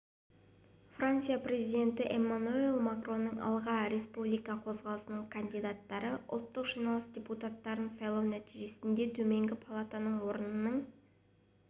франция президенті эммануэль макронның алға республика қозғалысының кандидаттары ұлттық жиналыс депутаттарын сайлау нәтижесінде төменгі палатаның орнының